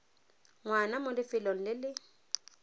ngwana mo lefelong le le